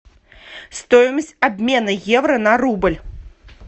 стоимость обмена евро на рубль